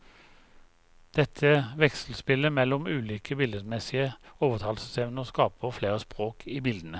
Dette vekselspillet mellom ulike billedmessige overtalelsesevner skaper flere språk i bildene.